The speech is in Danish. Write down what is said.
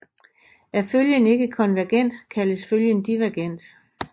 Er følgen ikke konvergent kaldes følgen divergent